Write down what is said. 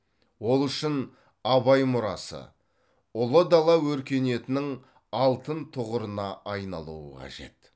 ол үшін абай мұрасы ұлы дала өркениетінің алтын тұғырына айналуы қажет